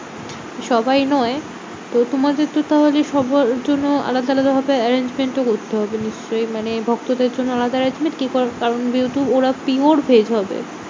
সবাই নয়। তো তোমাদের তো তাহলে সবার জন্য আলাদা আলাদা ভাবে arrangement ও করতে হবে নিশ্চই। মানে ভক্তদের জন্য আলাদা arrangement কে কার কারণ যেহেতু ওরা pure veg হবে।